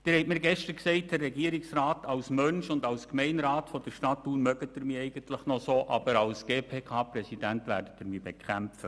Herr Regierungsrat, Sie haben mir gestern gesagt, als Mensch und als Gemeinderat der Stadt Thun mögen Sie mich eigentlich, aber als GPK-Präsidenten werden Sie mich bekämpfen.